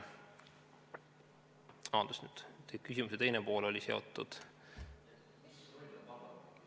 Vabandust, millega teie küsimuse teine pool oli seotud?